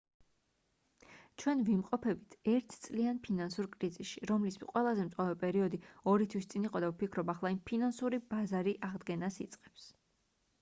ჩვენ ვიმყოფებით ერთ წლიან ფინანსურ კრიზისში რომლის ყველაზე მწვავე პერიოდი ორი თვის წინ იყო და ვფიქრობ ახლა ფინანსური ბაზარი აღდგენას იწყებს